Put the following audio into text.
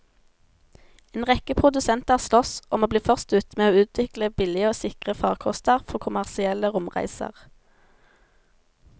En rekke produsenter sloss om å bli først ute med å utvikle billige og sikre farkoster for kommersielle romreiser.